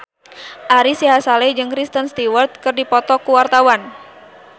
Ari Sihasale jeung Kristen Stewart keur dipoto ku wartawan